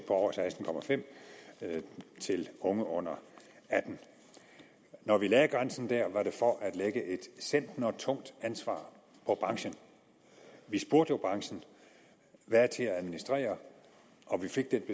over seksten til unge under atten år når vi lagde grænsen der var det for at lægge et centnertungt ansvar på branchen vi spurgte jo branchen hvad er til at administrere og vi fik den